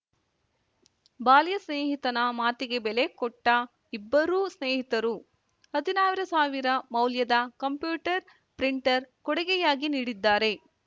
ಬಾಲ್ಯ ಸ್ನೇಹಿತನ ಮಾತಿಗೆ ಬೆಲೆ ಕೊಟ್ಟಇಬ್ಬರೂ ಸ್ನೇಹಿತರು ಹದಿನಾರು ಸಾವಿರ ಮೌಲ್ಯದ ಕಂಪ್ಯೂಟರ್ ಪ್ರಿಂಟರ್ ಕೊಡುಗೆಯಾಗಿ ನೀಡಿದ್ದಾರೆ